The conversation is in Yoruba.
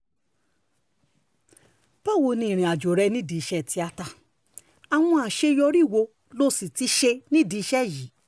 báwo ni ìrìnàjò rẹ nídìí iṣẹ́ tíáta àwọn àṣeyọrí wo lo sì ti ṣe nídìí iṣẹ́ yìí